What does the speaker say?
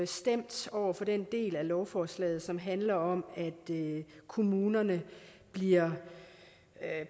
stemt over for den del af lovforslaget som handler om at kommunerne bliver